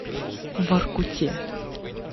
воркуте